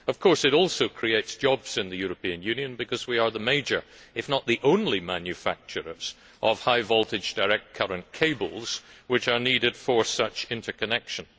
Of course, interconnection also creates jobs in the European Union because we are the major if not the only manufacturers of the high voltage direct current cables which are needed for such interconnection.